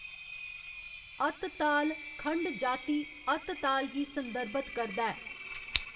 अत ताल, खंड जाति अत ताल गी संदर्भत करदा ऐ।